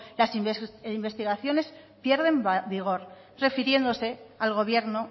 las investigaciones pierden vigor refiriéndose al gobierno